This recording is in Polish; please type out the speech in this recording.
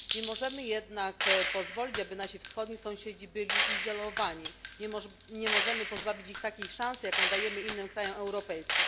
Nie możemy jednak pozwolić, aby nasi wschodni sąsiedzi byli izolowani, nie możemy pozbawić ich szansy, jaką dajemy innym krajom europejskim.